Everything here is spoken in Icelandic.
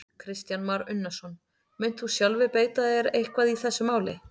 Kristján Már Unnarsson: Munt þú sjálfur beita þér eitthvað í þessu máli?